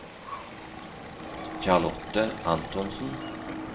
Charlotte Antonsen